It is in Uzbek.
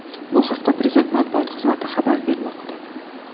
Bu haqda Prezident Matbuot xizmati xabar bermoqda .